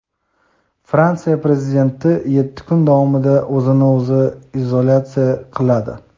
Fransiya Prezidenti yetti kun davomida o‘zini o‘zi izolyatsiya qiladi.